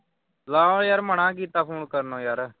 ਲਵ ਯਾਰ ਮਨਾ ਕੀਤਾ phone ਕਰਨ ਨੂੰ ਯਾਰ।